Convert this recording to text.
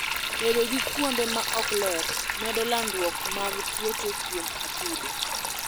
Bedo gi kuonde ma ok ler medo landruok mag tuoche kwom atudo.